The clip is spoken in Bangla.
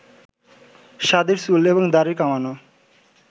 সাদির চুল এবং দাড়ি কামানো